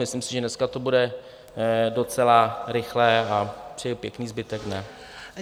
Myslím si, že dneska to bude docela rychlé, a přeji pěkný zbytek dne.